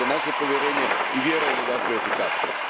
Imate naše povjerenje i vjerujem u vašu efikasnost.